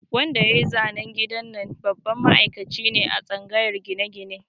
Wanda yayi zanen gidan nan babban ma'aikaci ne a tsangayar gine-gine